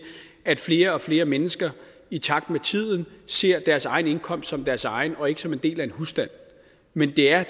at flere og flere mennesker i takt med tiden ser deres egen indkomst som deres egen og ikke som en del af en husstand men det er